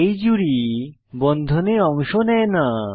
এই জুড়ি বন্ধনে অংশ নেয় না